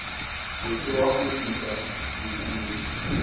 se ke wa kgutlisa bukana